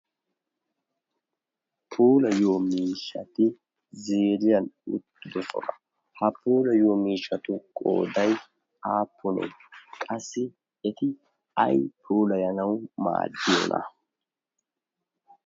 poolayyo miishati zeriyan uttido sona ha poolayyo miishatu qoodai aappunee qassi eti ay puulayanawu maadiyoona?